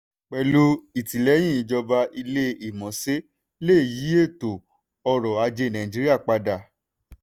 pẹ̀lú ìtìlẹ́yìn ìjọba ilé-ìmọ̀ṣẹ́ lè yí eto ọrọ̀ ajé nàìjíríà padà.